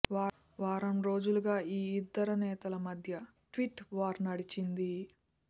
వారం రోజులుగా ఈ ఇద్దరు నేతల మధ్య ట్వీట్ వార్ నడిచింది